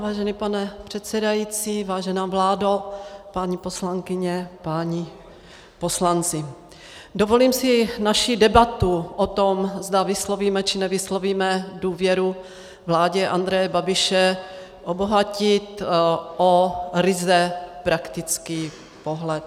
Vážený pane předsedající, vážená vládo, paní poslankyně, páni poslanci, dovolím si naši debatu o tom, zda vyslovíme, či nevyslovíme důvěru vládě Andreje Babiše obohatit o ryze praktický pohled.